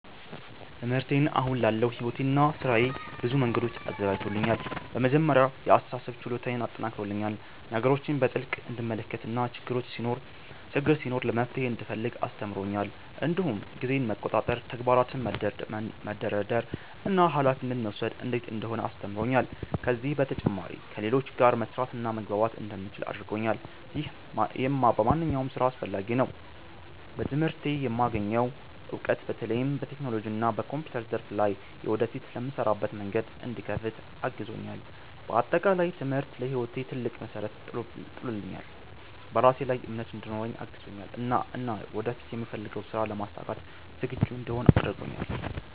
ትምህርቴ አሁን ላለው ሕይወቴና ሥራዬ በብዙ መንገዶች አዘጋጅቶኛል። በመጀመሪያ የአስተሳሰብ ችሎታዬን አጠናክሮልኛል፤ ነገሮችን በጥልቅ እንድመለከት እና ችግር ሲኖር መፍትሄ እንድፈልግ አስተምሮኛል። እንዲሁም ጊዜን መቆጣጠር፣ ተግባራትን መደርደር እና ኃላፊነት መውሰድ እንዴት እንደሆነ አስተምሮኛል። ከዚህ በተጨማሪ ከሌሎች ጋር መስራትና መግባባት እንደምችል አድርጎኛል፣ ይህም በማንኛውም ሥራ አስፈላጊ ነው። በትምህርቴ የማገኘው እውቀት በተለይም በቴክኖሎጂና በኮምፒውተር ዘርፍ ላይ ወደፊት ለምሰራበት መንገድ እንዲከፍት አግዞኛል። በአጠቃላይ ትምህርቴ ለሕይወቴ ትልቅ መሠረት ጥሎልኛል፤ በራሴ ላይ እምነት እንዲኖረኝ አግዞኛል እና ወደፊት የምፈልገውን ሥራ ለማሳካት ዝግጁ እንድሆን አድርጎኛል።